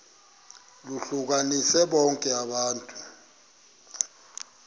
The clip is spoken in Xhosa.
lohlukanise bonke abantu